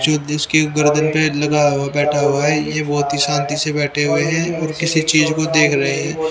चोट इसकी गर्दन पे लगा हुआ बैठा हुआ है ये बहोत ही शांति से बैठे हुए है और किसी चीज को देख रहे है।